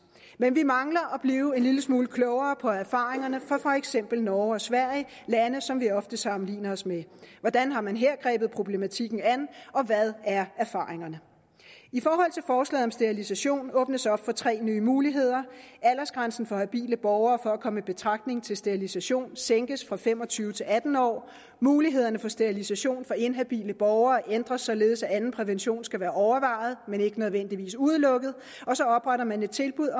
men vi mangler at blive en lille smule klogere på erfaringerne fra for eksempel norge og sverige lande som vi ofte sammenligner os med hvordan har man her grebet problematikken an og hvad er erfaringerne i forhold til forslaget om sterilisation åbnes der op for tre nye muligheder aldersgrænsen for habile borgere for at komme i betragtning til sterilisation sænkes fra fem og tyve til atten år mulighederne for sterilisation for inhabile borgere ændres således at anden prævention skal være overvejet men ikke nødvendigvis udelukket og så opretter man et tilbud